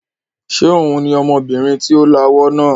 Ṣé òun ni ọmọbìnrin tí ó lawọ́ náà?